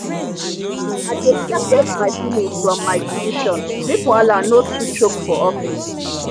i dey separate my feelings from my decision make wahala no too choke for office